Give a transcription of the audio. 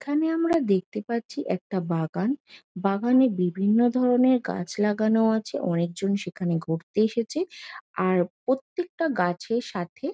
এখানে আমরা দেখতে পাচ্ছি একটা বাগান । বাগানে বিভিন্ন ধরণের গাছ লাগানো আছে। অনেক জন সেখানে ঘুরতে এসেছে আর প্রত্যেকটা গাছের সাথে--